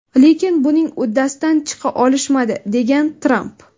Lekin buning uddasidan chiqa olishmadi”, degan Tramp.